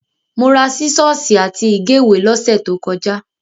Mo ra sísọ́ọ́sì àti ìgéwèé lọ́sẹ̀ tó kọjá.